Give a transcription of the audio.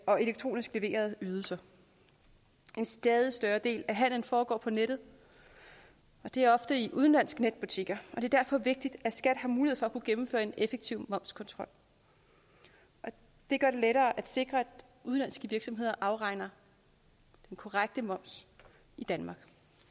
og elektronisk leverede ydelser en stadig større del af handelen foregår på nettet og det er ofte i udenlandske netbutikker det er derfor vigtigt at skat har mulighed for at kunne gennemføre en effektiv momskontrol det gør det lettere at sikre at udenlandske virksomheder afregner den korrekte moms i danmark